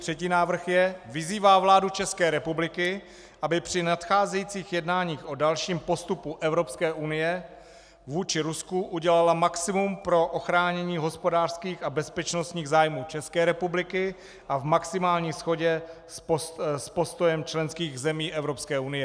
Třetí návrh je: "Vyzývá vládu České republiky, aby při nadcházejících jednáních o dalším postupu Evropské unie vůči Rusku udělala maximum pro ochránění hospodářských a bezpečnostních zájmů České republiky a v maximální shodě s postojem členských zemí Evropské unie."